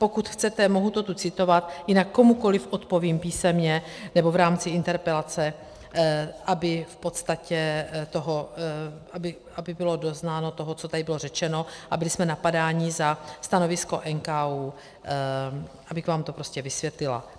Pokud chcete, mohu to tu citovat, jinak komukoli odpovím písemně nebo v rámci interpelace, aby bylo doznáno toho, co tady bylo řečeno, a byli jsme napadáni za stanovisko NKÚ, abych vám to prostě vysvětlila.